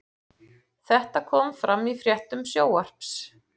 Þetta kom fram í fréttum Sjónvarps